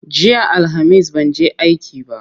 Jiya Alhamis ban je aiki ba.